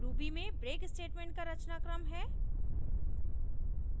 ruby में break statement का रचनाक्रम है